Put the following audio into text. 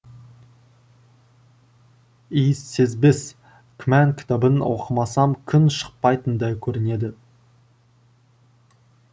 иіссезбес күмән кітабын оқымасам күн шықпайтындай көрінеді